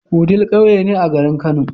Wudil ƙauye ne a garin kano